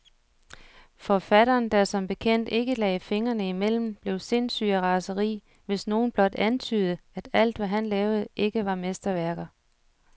Forfatteren, der som bekendt ikke lagde fingrene imellem, blev sindssyg af raseri, hvis nogen blot antydede, at alt, hvad han lavede, ikke var mesterværker.